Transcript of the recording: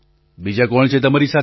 બીજાં કોણ છે તમારી સાથે